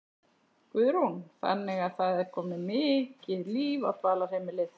Guðrún: Þannig að það er komið mikið líf á dvalarheimilið?